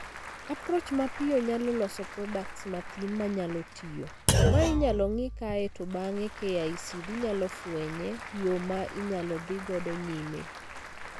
Approach mapiyo nyalo loso products mathin manyalo tiyo, ma inyalo ng'ii kae to bang'e KICD nyalo fwenye yoo ma inyalo dhii godo nyime.